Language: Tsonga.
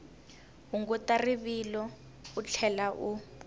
hunguta rivilo u tlhela u